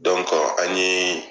an ye